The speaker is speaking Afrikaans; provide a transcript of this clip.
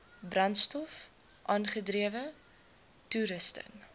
brandstof aangedrewe toerusting